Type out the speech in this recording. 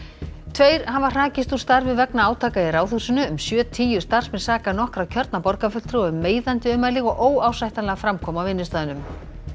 tveir hafa hrakist úr starfi vegna átaka í Ráðhúsinu um sjötíu starfsmenn saka nokkra kjörna borgarfulltrúa um meiðandi ummæli og óásættanlega framkomu á vinnustaðnum